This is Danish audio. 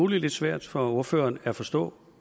lidt svært for ordføreren at forstå